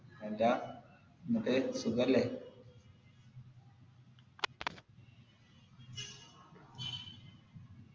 എന്താ എന്നിട്ട് സുഖല്ലേ